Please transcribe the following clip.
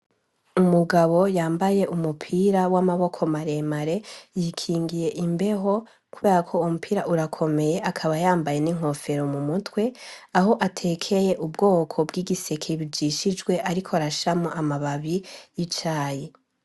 Umugabo yambaye umupira w’amaboko mare mare yikingiye imbeho kubera ko uwo mupira urakomeye akaba yambaye n’inkofero mu mutwe, aho atekeye ubwoko bw’igiseke bijishijwe ariko arashiramwo amababi y’icyaye.